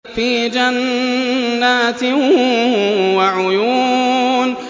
فِي جَنَّاتٍ وَعُيُونٍ